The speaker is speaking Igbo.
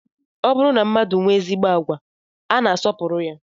Ọ bụrụ na mmadụ nwee ezigbo agwa, a na-asọpụrụ ya